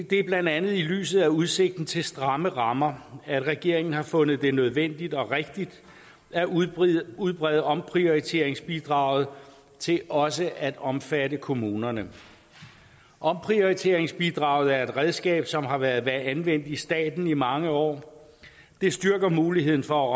det er blandt andet i lyset af udsigten til stramme rammer at regeringen har fundet det nødvendigt og rigtigt at udbrede udbrede omprioriteringsbidraget til også at omfatte kommunerne omprioriteringsbidraget er et redskab som har været anvendt i staten i mange år det styrker muligheden for at